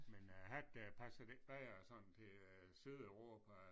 Men æ hat der passer det ikke bedre sådan til øh Sydeuropa